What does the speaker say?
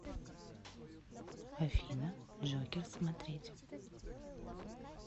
афина джокер смотреть